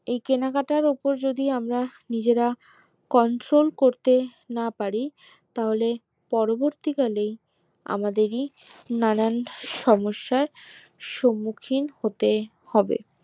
এই কেনাকাটার উপর যদি আমরা নিজেরা control করতে না পারি পরবর্তী কালে আমাদেরই নানান সমস্যার স্মুখীন হতে হবে